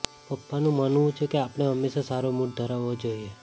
પપ્પાનું માનવું છે કે આપણે હંમેશા સારો મૂડ ધરાવવો જોઈએ